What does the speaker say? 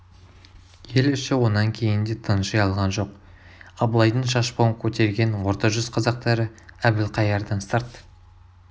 ел іші онан кейін де тынши алған жоқ абылайдың шашбауын көтерген орта жүз қазақтары әбілқайырдан сырт